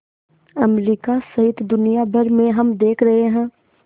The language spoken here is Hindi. अमरिका सहित दुनिया भर में हम देख रहे हैं